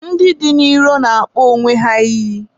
ndị dị n'iro na-akpọ onwe ha iyi.